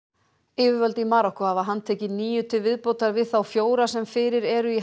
yfirvöld í Marokkó hafa handtekið níu til viðbótar við þá fjóra sem fyrir eru í